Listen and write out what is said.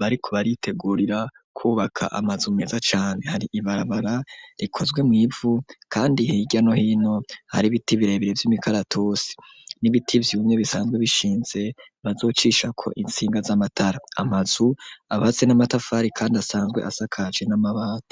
bariko baritegurira kubaka amazu meza cane, hari ibarabara rikozwe mw'ivu kandi hirya no hino hari ibiti birebire vy'imikaratusi, n'ibiti vyumye bisanzwe bishinze bazocishako intsinga z'amatara. Amazu yubatswe n'amatafari kandi asanzwe asakajwe n'amabati.